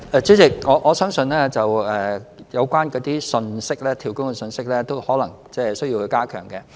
主席，我相信有關"跳工"的信息，可能需要加強。